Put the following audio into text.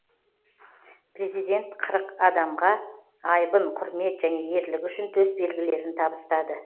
президент қырық адамға айбын құрмет және ерлігі үшін төсбелгілерін табыстады